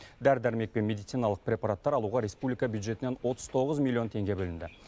дәрі дәрмек пен медициналық препараттар алуға республика бюджетінен отыз тоғыз миллион теңге бөлінді